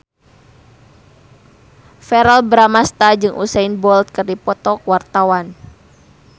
Verrell Bramastra jeung Usain Bolt keur dipoto ku wartawan